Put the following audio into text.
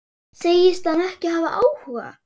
Segist hann ekki hafa áhuga?